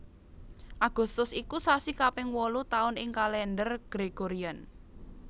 Agustus iku sasi kaping wolu taun ing Kalèndher Gregorian